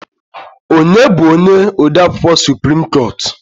Onye bụ onye odeakwụkwọ suprim koot?